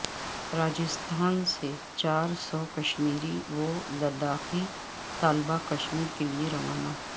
راجستھان سے چار سو کشمیری و لداخی طلبا کشمیر کے لئے روانہ